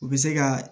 U bɛ se ka